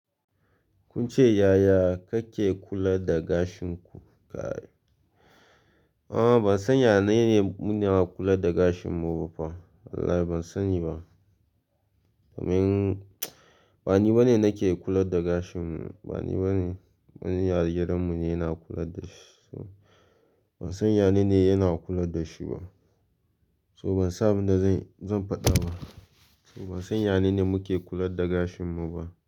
Kun ce yaya kake kula da gashin ku? A'a ban san yanayin muna kula da gashin mu ba fa. Wallahi ban sani ba. Domin bani bane nake kula da gashin wani yarinyar gidan mu ne yana kula da shi. Ban san yanayin yana kula da shi ba. So ban samu da zan faɗa ba. So ban san yanayin muke kula da gashin mu ba.